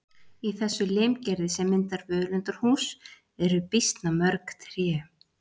Í þessu limgerði sem myndar völundarhús eru býsna mörg tré.